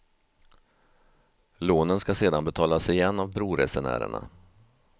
Lånen ska sedan betalas igen av broresenärerna.